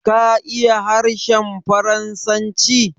Ka iya harshen Faransanci?